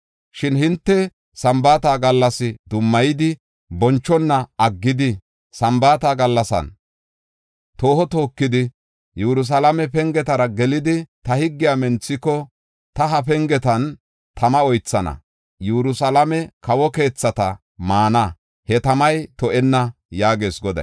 Shin hinte Sambaata gallasa dummayidi bonchona aggidi, Sambaata gallasan tooho tookidi, Yerusalaame pengetara gelidi, ta higgiya menthiko, ta he pengetan tama oythana. Yerusalaame kawo keethata maana; he tamay to7enna’ ” yaagees Goday.